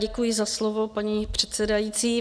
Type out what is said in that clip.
Děkuji za slovo, paní předsedající.